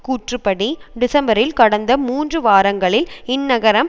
கூற்றுப்படி டிசம்பரில் கடந்த மூன்று வாரங்களில் இந்நகரம்